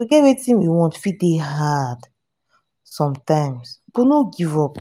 to get wetin we want fit dey fit dey hard sometimes but no give up